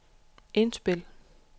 indspil